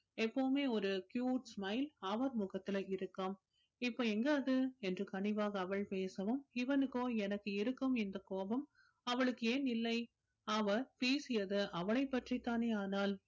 எப்பவுமே ஒரு cute smile அவர் முகத்துல இருக்கும் இப்ப எங்க அது என்று கனிவாக அவள் பேசவும் இவனுகோ எனக்கு இருக்கும் இந்த கோபம் அவளுக்கு ஏன் இல்லை அவ பேசியது அவளை பற்றித்தானே ஆனால்